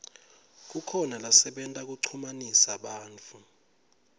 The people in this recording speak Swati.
kukhona lasebenta kuchumanisa bantfu